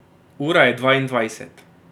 Ura je dvaindvajset.